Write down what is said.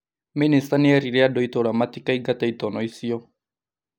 Mĩnĩsta nĩ erire andũ a itũra matikaigate itono icio